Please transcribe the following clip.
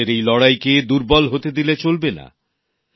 আমাদের এই লড়াইকে দুর্বল হতে দিলে চলবে না